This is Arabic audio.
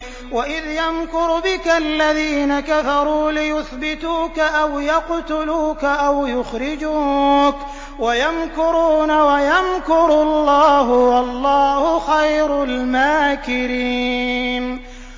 وَإِذْ يَمْكُرُ بِكَ الَّذِينَ كَفَرُوا لِيُثْبِتُوكَ أَوْ يَقْتُلُوكَ أَوْ يُخْرِجُوكَ ۚ وَيَمْكُرُونَ وَيَمْكُرُ اللَّهُ ۖ وَاللَّهُ خَيْرُ الْمَاكِرِينَ